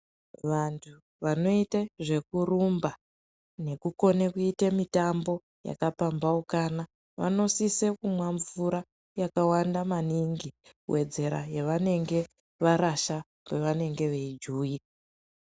Wandu wanoite nezvekurumba nekukone kuite mitambo yakapambaukana wanosise kumwa mvura yakawanda maningi kuwedzera yawanenge warasha kwawanenge wei juwika.